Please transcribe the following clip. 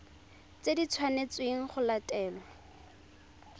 tse di tshwanetsweng go latelwa